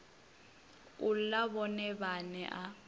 u ḽa vhone vhaṋe a